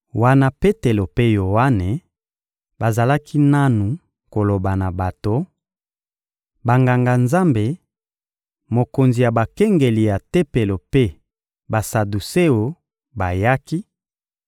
Wana Petelo mpe Yoane bazalaki nanu koloba na bato, Banganga-Nzambe, mokonzi ya bakengeli ya Tempelo mpe Basaduseo bayaki,